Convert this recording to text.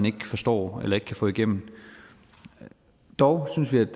ikke forstår eller ikke kan få igennem dog synes vi